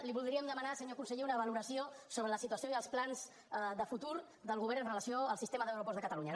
li voldríem demanar senyor conseller una valoració sobre la situació i els plans de futur del govern amb relació al sistema d’aeroports de catalunya